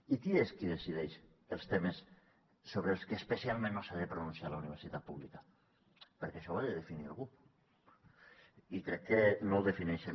i qui és qui decideix els temes sobre els que especialment no s’ha de pronunciar la universitat pública perquè això ho ha de definir algú i crec que no ho defineixen